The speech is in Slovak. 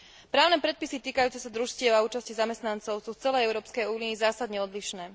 Právne predpisy týkajúce sa družstiev a účasti zamestnancov sú v celej Európskej únii zásadne odlišné.